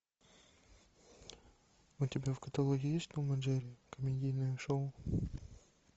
у тебя в каталоге есть том и джерри комедийное шоу